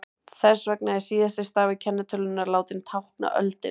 þess vegna er síðasti stafur kennitölunnar látinn tákna öldina